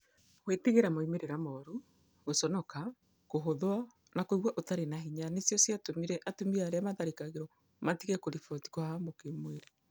Gwĩtigĩra moimĩrĩro moru, gũconoka, kũhũthwo, na kũigua ũtarĩ na hinya nĩcio ciatũmire atumia arĩa maatharĩkĩirũo matige kũriboti kũhahamwa kĩmwĩrĩ.